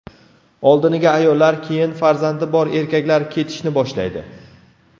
Oldiniga ayollar, keyin farzandi bor erkaklar ketishni boshlaydi.